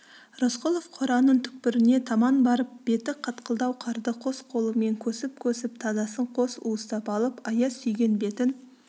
рысқұлов қораның түкпіріне таман барып беті қатқылдау қарды қос қолымен көсіп-көсіп тазасын қос уыстап алып аяз сүйген бетін